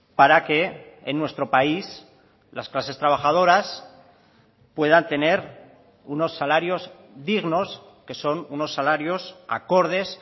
para que en nuestro país las clases trabajadoras puedan tener unos salarios dignos que son unos salarios acordes